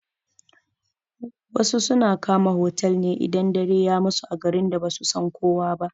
Wasu suna kama otal idan dare ya musu a garin da basu san kowa ba.